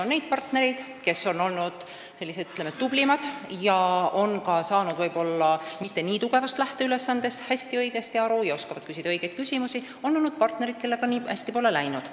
On olnud neid, kes on olnud n-ö tublimad, st saanud võib-olla mitte väga tugevast lähteülesande püstitusest õigesti aru ja osanud õigeid küsimusi küsida, aga on olnud ka partnereid, kellega pole nii hästi läinud.